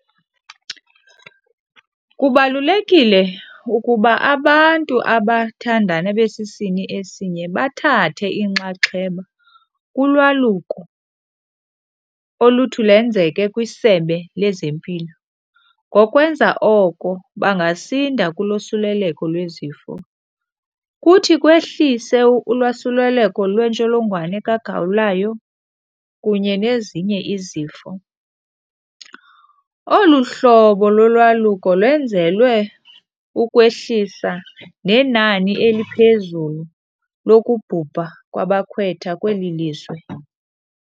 Kubalulekile ukuba abantu abathandana besisini esinye bathathe inxaxheba kulwaluko oluthi lenzeke kwiSebe lezeMpilo, ngokwenza oko bangasinda kulosuleleko lwezifo. Kuthi kwehlise ulwasuleleko lwentsholongwane kagawulayo kunye nezinye izifo. Olu hlobo lolwaluko lwenzelwe ukwehlisa nenani eliphezulu lokubhubha kwabakhwetha kweli lizwe.